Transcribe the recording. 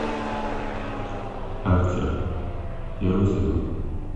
арчер первый сезон